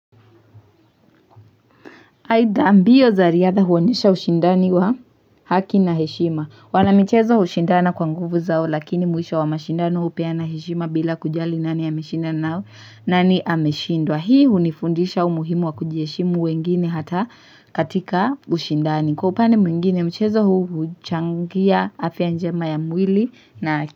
Aidha mbio za riadha huwonyesha ushindani wa haki na heshima wanamichezo ushindana kwa nguvu zao lakini mwisho wa mashindani hupeana heshima bila kujali nani ameshindwa nani ameshindwa hii unifundisha umuhimu wa kujiheshimu wengine hata katika ushindani kwa upande mwingine mchezo huu huchangia afya njema ya mwili na haki.